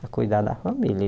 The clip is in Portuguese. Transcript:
para cuidar da família.